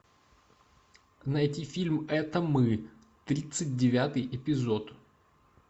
найти фильм это мы тридцать девятый эпизод